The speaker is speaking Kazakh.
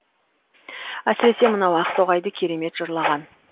әсіресе мынау ақтоғайды керемет жырлаған